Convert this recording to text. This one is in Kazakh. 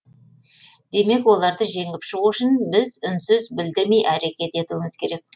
демек оларды жеңіп шығу үшін біз үнсіз білдірмей әрекет етуіміз керек